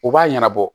U b'a ɲɛnabɔ